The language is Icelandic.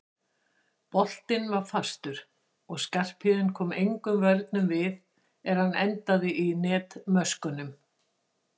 Boltinn var fastur og Skarphéðinn kom engum vörnum við er hann endaði í netmöskvunum.